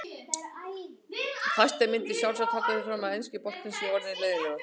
Fæstir myndu sjálfsagt halda því fram að enski boltinn sé orðinn leiðinlegur.